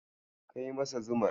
Kai masa zumar.